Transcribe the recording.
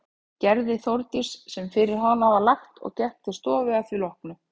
Gerði Þórdís sem fyrir hana var lagt og gekk til stofu að því loknu.